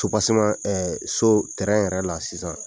Sobaseman ɛ so tɛrɛn yɛrɛ la so tɛrɛn yɛrɛ la sisan